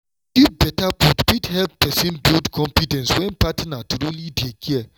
to give better food fit help person build confidence when partner truly dey care.